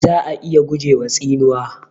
Za'a iya gujewa tsinuwa.